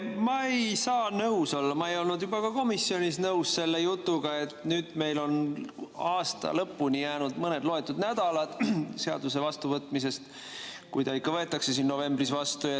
Ma ei saa nõus olla – ma ei olnud ka komisjonis nõus selle jutuga –, et meil on aasta lõpuni jäänud mõned loetud nädalad pärast seaduse vastuvõtmist, kui ta ikka võetakse novembris vastu.